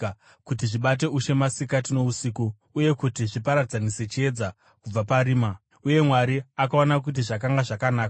kuti zvibate ushe masikati nousiku, uye kuti zviparadzanise chiedza kubva parima. Uye Mwari akaona kuti zvakanga zvakanaka.